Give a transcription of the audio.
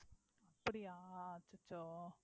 அப்படியா அச்சச்சோ